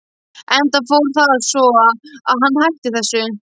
Enda fór það svo að hann hætti þessu.